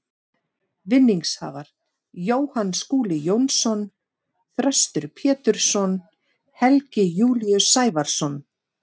Vinningshafar: Jóhann Skúli Jónsson Þröstur Pétursson Helgi Júlíus Sævarsson